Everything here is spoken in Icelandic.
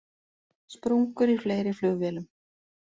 Sprungur í fleiri flugvélum